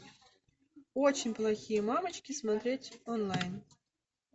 очень плохие мамочки смотреть онлайн